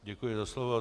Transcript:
Děkuji za slovo.